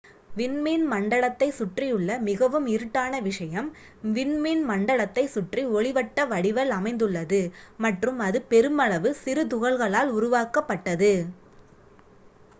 விண்மீன் மண்டலத்தை சுற்றியுள்ள மிகவும் இருட்டான விஷயம் விண்மீன் மண்டலத்தை சுற்றி ஒளிவட்ட வடிவல் அமைந்துள்ளது மற்றும் அது பெருமளவு சிறுதுகள்களால் உருவாக்கப்பட்டது